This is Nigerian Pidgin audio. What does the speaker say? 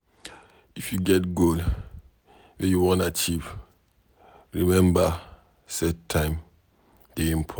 If you get goal wey you wan achieve, remember set time dey important.